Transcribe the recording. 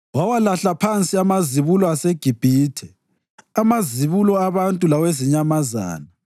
Wawalahla phansi amazibulo aseGibhithe, amazibulo abantu lawezinyamazana.